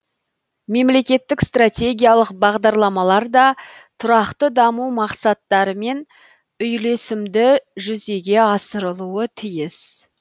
мемлекеттік стратегиялық бағдарламалар да тұрақты даму мақсаттарымен үйлесімді жүзеге асырылуы тиіс